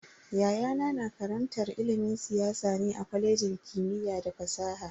Yayana na karantar ilimin siyasa ne a kwalejin kimiyya da fasaha.